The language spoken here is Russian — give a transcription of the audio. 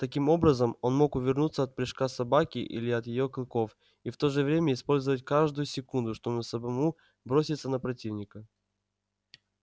таким образом он мог увернуться от прыжка собаки или от её клыков и в то же время использовать каждую секунду чтобы самому броситься на противника